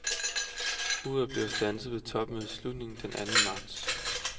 Uret bliver standset ved topmødets slutning den et anden marts.